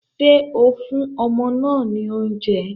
Ṣé o fún ọmọ náà ní oúnjẹ?